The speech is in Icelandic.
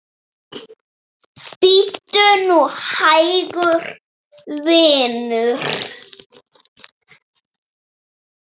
Bíddu nú hægur, vinur.